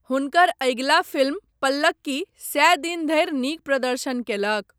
हुनकर अगिला फिल्म पल्लक्की सए दिन धरि नीक प्रदर्शन कयलक।